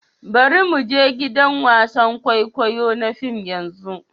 Bari mu je gidan wasan kwaikwayo na fim yanzu.